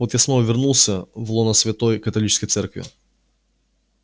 вот я снова вернулся в лоно святой католической церкви